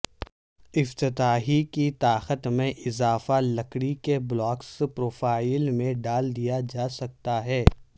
افتتاحی کی طاقت میں اضافہ لکڑی کے بلاکس پروفائل میں ڈال دیا جا سکتا ہے